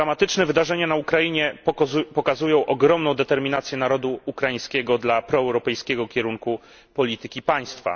Dramatyczne wydarzenia na Ukrainie pokazują ogromną determinację narodu ukraińskiego dla proeuropejskiego kierunku polityki państwa.